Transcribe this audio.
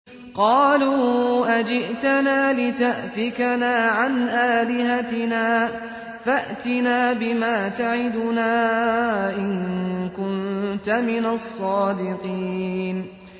قَالُوا أَجِئْتَنَا لِتَأْفِكَنَا عَنْ آلِهَتِنَا فَأْتِنَا بِمَا تَعِدُنَا إِن كُنتَ مِنَ الصَّادِقِينَ